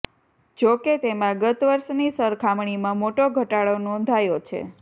જોકે તેમાં ગત વર્ષની સરખામણીમાં મોટો ઘટાડો નોંધાયો છે